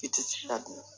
I tɛ se ka dun